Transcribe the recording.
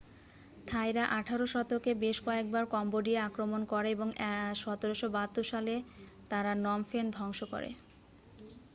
থাইরা 18 শতকে বেশ কয়েকবার কম্বোডিয়া আক্রমণ করে এবং 1772 সালে তারা নম ফেন ধ্বংস করে